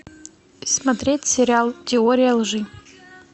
смотреть сериал теория лжи